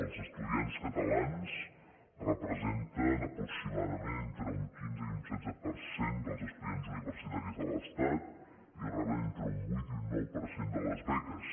els estudiants catalans representen aproximadament entre un quinze i un setze per cent dels es·tudiants universitaris de l’estat i reben entre un vuit i nou per cent de les beques